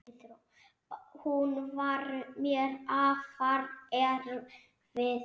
Hún var mér afar erfið.